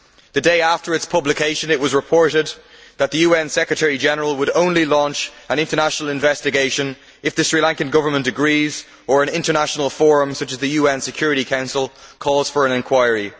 The day after its publication, it was reported that the UN Secretary General would only launch an international investigation if the Sri Lankan Government agrees or an international forum such as the UN Foreign Security Council calls for an inquiry.